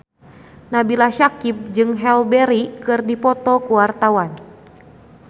Nabila Syakieb jeung Halle Berry keur dipoto ku wartawan